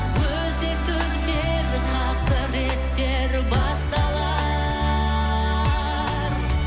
өзекті өртер қасіреттер басталар